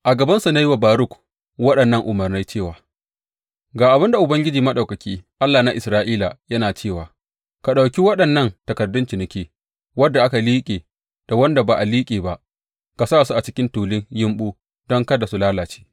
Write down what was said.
A gabansu na yi wa Baruk waɗannan umarnai cewa, Ga abin da Ubangiji Maɗaukaki, Allah na Isra’ila, yana cewa ka ɗauki waɗannan takardun ciniki, wanda aka liƙe da wanda ba a liƙe ba, ka sa su a cikin tulun yumɓu don kada su lalace.